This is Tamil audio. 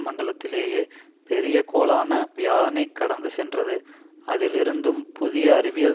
மண்டலத்திலேயே பெரிய கோளான வியாழனைக் கடந்து சென்றது அதில் இருந்தும் புதிய அறிவியல்